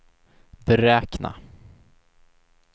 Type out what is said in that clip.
beräkna